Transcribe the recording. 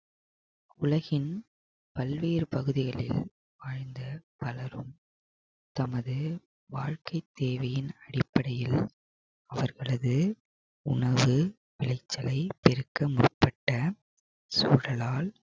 உலகின் பல்வேறு பகுதிகளில் வாழ்ந்த பலரும் தமது வாழ்க்கை தேவையின் அடிப்படையில் அவர்களது உணவு விளைச்சலை பெருக்க முற்பட்ட சூழலால்